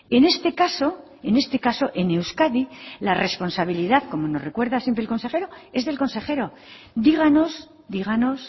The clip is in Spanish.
en este caso en este caso en euskadi la responsabilidad como nos recuerdo siempre el consejero es del consejero díganos díganos